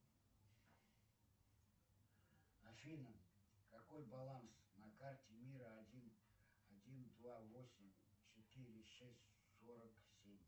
афина какой баланс на карте мир один один два восемь четыре шесть сорок семь